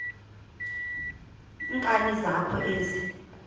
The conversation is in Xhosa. nkani zakho ezi